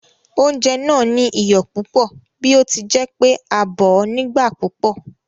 Oúnjẹ náà ní iyọ̀ púpò bí ọtíjẹpé a bòó nígbà púpò